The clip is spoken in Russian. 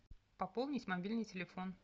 пополнить мобильный телефон